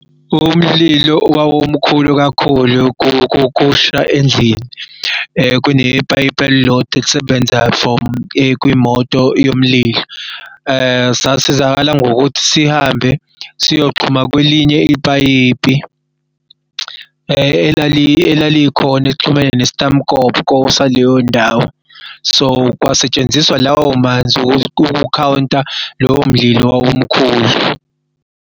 Umlilo wawumkhulu kakhulu kusha endlini kunepayipi elilodwa elisebenza from kwiy'moto yomlilo. sasizakala ngokuthi sihambe siyoxhumana kwelinye ipayipi elalikhona elixhumene nestamukoko saleyo ndawo so kwasetshenziswa lawo manzi ukukhawunti lowo mdlalo owawumkhulu.